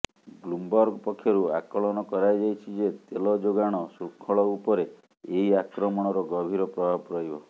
Bloomberg ପକ୍ଷରୁ ଆକଳନ କରାଯାଇଛି ଯେ ତେଲ ଯୋଗାଣ ଶୃଙ୍ଖଳ ଉପରେ ଏହି ଆକ୍ରମଣର ଗଭୀର ପ୍ରଭାବ ରହିବ